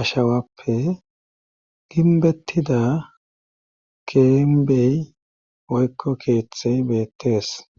ashawappe ginbettida keembey woykko keeththe beettees.